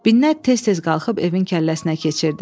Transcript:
Binnət tez-tez qalxıb evin kəlləsinə keçirdi.